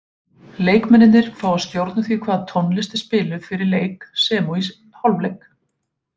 Leikmennirnir fá að stjórna því hvaða tónlist er spiluð fyrir leiki sem og í hálfleik.